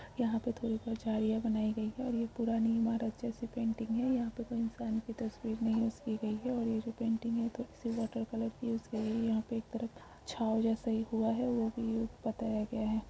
यहाँ पर दुरी पर झाड़िया बनाई गई है और ये पुरानी इमारत जैसा पेंटिंग है यहाँ पे कोई इंसान की पैन्टिन्ग नइ यूज़ की गई है और ये जो पेंटिंग है तो किसी वाटर कलर को यूज़ की गई यहाँ पे एक तरफ छाँव जैसा ही हुआ है वो भी बताया गया है।